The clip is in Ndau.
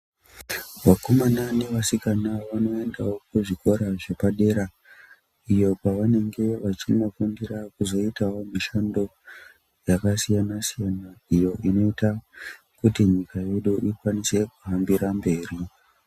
Vakomana nevasikana vanoendawo kuzvikora zvepadera. Iyo kwavanenge vachinofundira kuzoitawo mishando yakasiyana siyana. Iyo inoita kuti nyika yedu ikwanise kuhambira mberi.